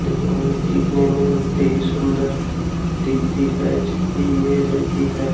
लेकिन यह दिखने में उतनी ही सुंदर दिखती है जितनी यह रहती है।